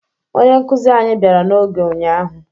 Onye nkụzi anyị bịara n'oge ụnyaahụ